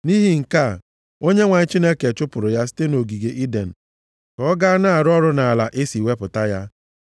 Nʼihi nke a, Onyenwe anyị Chineke chụpụrụ ya site nʼogige Iden ka ọ gaa na-arụ ọrụ nʼala e si wepụta ya.